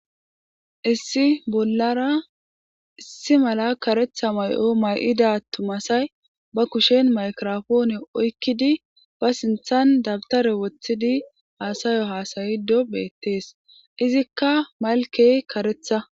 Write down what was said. issi bollara issi mala karetha may7o may7ida tumasay ba kushen maykirofoone oykkidi ba sinthan dabtare woththidi aasayo haasayido beettees izikka malkey karetha